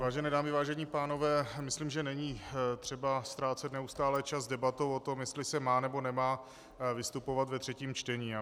Vážené dámy, vážení pánové, myslím, že není třeba ztrácet neustále čas debatou o tom, jestli se má, nebo nemá vystupovat ve třetím čtení.